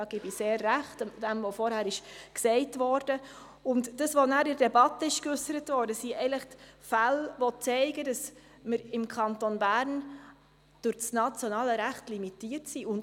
Die Fälle, die dann in der Debatte aufgezeigt worden sind, zeigen, dass wir im Kanton Bern aufgrund des nationalen Rechtes limitiert sind.